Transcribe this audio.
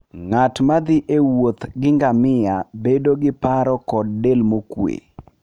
Ng'at ma thi e wuoth gi ngamia bedo gi paro kod del mokuwe.